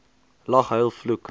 lag huil vloek